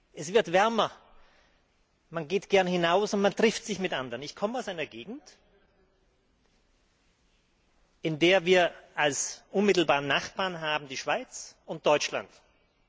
Es wird wärmer, man geht gern hinaus und man trifft sich mit anderen. Ich komme aus einer Gegend, in der wir als unmittelbare Nachbarn die Schweiz und Deutschland haben.